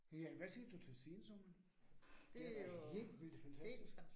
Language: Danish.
Ja, hvad siger du til sensommeren? Den er helt vildt fantastisk